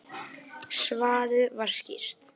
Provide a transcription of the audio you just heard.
Svarið var skýrt: